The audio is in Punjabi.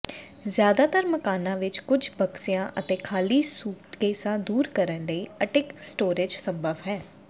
ਜ਼ਿਆਦਾਤਰ ਮਕਾਨਾਂ ਵਿਚ ਕੁਝ ਬਕਸਿਆਂ ਅਤੇ ਖਾਲੀ ਸੂਟਕੇਸਾਂ ਦੂਰ ਕਰਨ ਲਈ ਅਟਿਕ ਸਟੋਰੇਜ ਸੰਭਵ ਹੈ